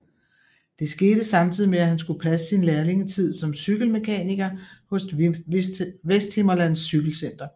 Det skete samtidig med at han skulle passe sin lærlingetid som cykelmekaniker hos Vesthimmerlands Cykelcenter